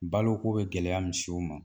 Balo ko be gɛlɛya misiw ma